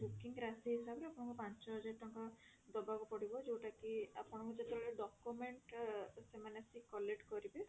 booking ରାଶି ହିସାବରେ ଆପଣଙ୍କୁ ପାଞ୍ଚ ହଜାର ଟଙ୍କା ଦବାକୁ ପଡିବ ଯୋଉଟା କି ଅପଙ୍କୁ ଯେତେବେଳେ document ଆ ସେମାନେ ଆସିକି collect କରିବେ